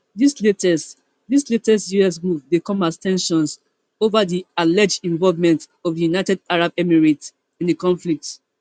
dis latest dis latest us move dey come as ten sions over di alleged involvement of di united arab emirates in di conflict